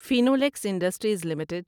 Finolex Industries limited